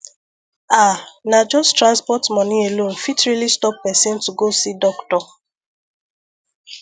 ah na just transport money alone fit really stop person to go see doctor